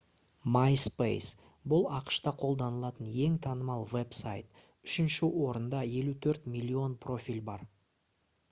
myspace бұл ақш-та қолданылатын ең танымал веб-сайт үшінші орында 54 миллион профиль бар